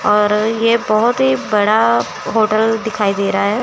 और ये बहोत ही बड़ा होटल दिखाई दे रहा--